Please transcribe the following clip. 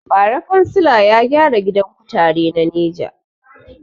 Bara kansila gyara gidan kutare na neja